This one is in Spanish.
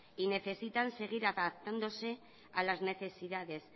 y necesitan seguir adaptándose a las necesidades